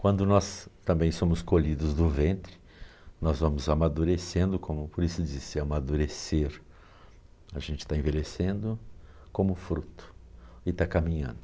Quando nós também somos colhidos do ventre, nós vamos amadurecendo como, por isso diz-se amadurecer, a gente está envelhecendo como fruto e está caminhando.